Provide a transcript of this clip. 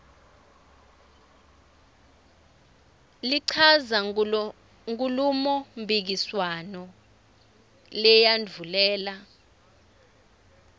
lichaza kunkhulumomphikiswano leyandvulela